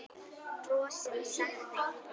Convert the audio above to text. Bros sem sagði